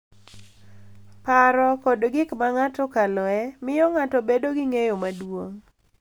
Paro, kod gik ma ng’ato okaloe, miyo ng’ato bedo gi ng’eyo maduong’